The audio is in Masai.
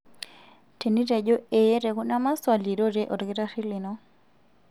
Tenitejo ee tekuna maswali, rorie olkitarri lino.